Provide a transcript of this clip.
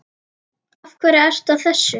Af hverju ertu að þessu?